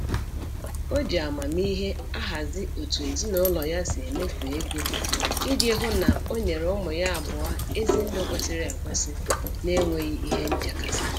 O ji amamihe ahazi otu ezinụlọ ya si emefu ego, iji hụ na onyere ụmụ ya abụọ ezi ndụ kwesịrị ekwesị n'enweghị ihe nchekasị